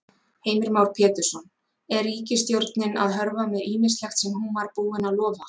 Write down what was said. Heimir Már Pétursson: Er ríkisstjórnin að hörfa með ýmislegt sem hún var búin að lofa?